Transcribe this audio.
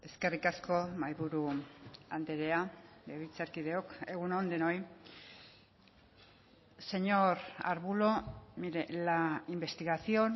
eskerrik asko mahai buru andrea legebiltzarkideok egun on denoi señor arbulo mire la investigación